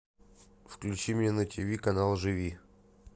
включи мне на тв канал живи